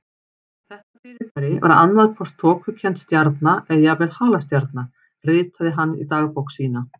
Þetta fyrirbæri var annað hvort þokukennd stjarna eða jafnvel halastjarna ritaði hann í dagbók sína.